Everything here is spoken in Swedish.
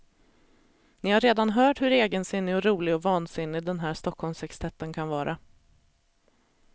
Ni har redan hört hur egensinnig och rolig och vansinnig den här stockholmssextetten kan vara.